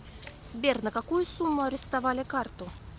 сбер на какую сумму арестовали карту